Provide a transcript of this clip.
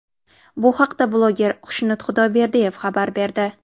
Bu haqda bloger Xushnud Xudoyberdiyev xabar berdi .